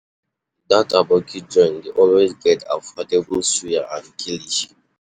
Dat Aboki joint dey always get affordable suya and kilishi.